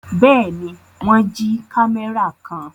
Bẹ́ẹ̀ ni, wọ́n jí kámẹ́rà kan.